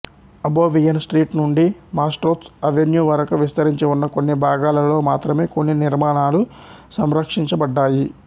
Abovyan Street నుండి Mashtots Avenue వరకు విస్తరించి ఉన్న కొన్ని భాగాలలో మాత్రమే కొన్ని నిర్మాణాలు సంరక్షించబడ్డాయి